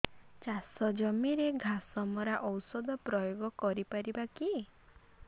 ଚାଷ ଜମିରେ ଘାସ ମରା ଔଷଧ ପ୍ରୟୋଗ କରି ପାରିବା କି